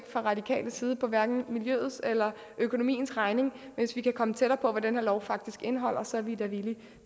fra radikales side på hverken miljøets eller økonomiens regning hvis vi kan komme tættere på hvad den her lov faktisk indeholder og så er vi da villige